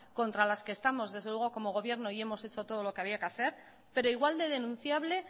contra las que estamos desde luego como gobierno y hemos hecho todo lo que había que hacer pero igual de denunciable